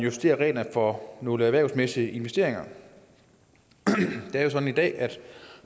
justerer reglerne for nogle erhvervsmæssige investeringer det er jo sådan i dag at